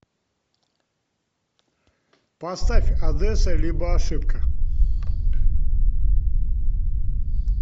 поставь одесса либо ошибка